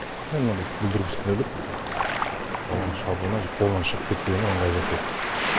жай мынандай бүлдіргісін іліп баланың шабуына қолынан шығып кетпеуіне ыңғай жасайды